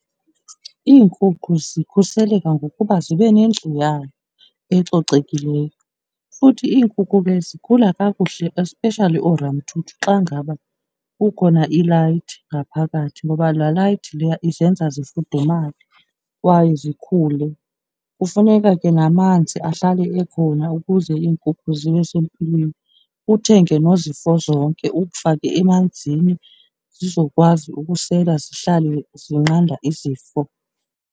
Iinkukhu zikhuseleke ngokuba zibe nendlu yayo ecocekileyo, futhi iinkukhu ke zikhula kakuhle especially ooramthuthu xa ngaba kukhona ilayithi ngaphakathi ngoba la layithi leya izenza zifudumale kwaye zikhule. Kufuneka ke namanzi ahlale ekhona ukuze iinkukhu zibe sempilweni, uthenge nozifozonke, umfake emanzini zizokwazi ukusela zihlale zinqanda izifo.